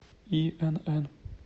инн